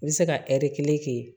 N bɛ se ka kelen kɛ yen